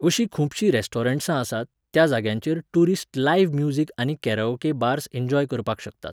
अशीं खुबशीं रेस्टारंट्सां आसात, त्या जाग्यांचेर टुरिस्ट लायव्ह म्युजिक आनी काराओके बार्स एंजॉय करपाक शकतात